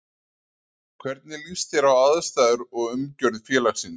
Hvernig líst þér á aðstæður og umgjörð félagsins?